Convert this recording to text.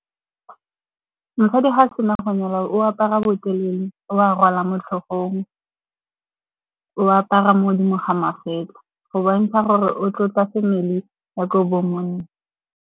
Mosadi ga a sena go nyalwa o apara botelele, o a rwala mo tlhogong, o apara mo godimo ga magetlha go bontsha gore o tlotla family ya ko bo monna.